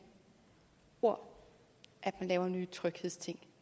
ord man laver nye tryghedsting